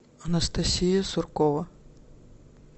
анастасия суркова